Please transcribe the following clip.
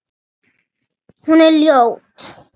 Hún er ljót.